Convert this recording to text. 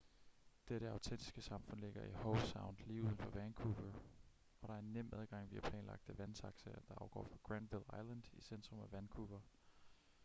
dette autentiske samfund ligger i howe sound lige uden for vancouver og der er nem adgang via planlagte vandtaxaer der afgår fra granville island i centrum af vancouver